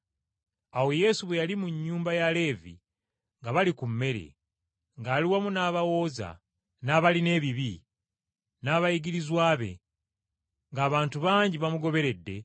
Awo Yesu bwe yali mu nnyumba ya Leevi nga bali ku mmere, ng’ali wamu n’abawooza, n’abalina ebibi, n’abayigirizwa be, ng’abantu bangi bamugoberedde,